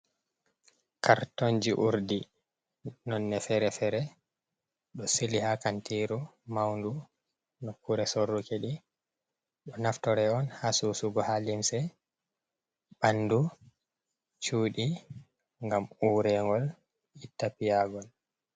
Kartonji urdi nonne fere-fere ɗo sili ha kantiru maundu nokure sorruke ɗi ɗo naftora on ha sosugo ha limse, ɓandu, cuɗi gam uregol ita piyagol.